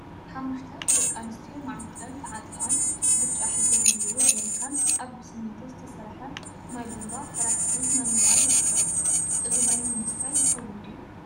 ሓሙሽተ ደቂ አንስትዮ ማዓንጠአን ተዓጢቀን ብጫ ሕብሪ ዘለዎ ጀሪካን አብ ብስሚንቶ ዝተሰርሐት ማይ ቡንባ ተራ ሒዘን እናመልአ ይርከባ፡፡ እዚ ማይ ንምስታይ ይኸውን ድዩ?